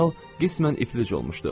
General qismən iflic olmuşdu.